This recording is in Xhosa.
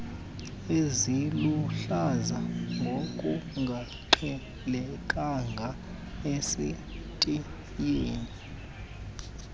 eziluhlaza ngokungaqhelekanga esitiyeni